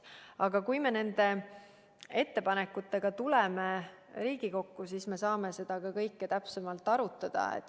Aga kui me nende ettepanekutega tuleme Riigikokku, siis me saame seda kõike täpsemalt arutada.